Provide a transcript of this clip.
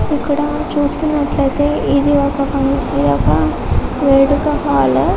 ఇక్కడ చూస్తున్నట్టు అయితే ఇది ఓక వేడుక హాలు.